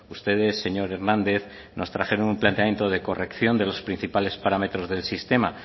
ustedes señor hernández nos trajeron un planteamiento de corrección de los principales parámetros del sistema